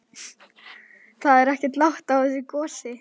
Það er ekkert lát á þessu gosi?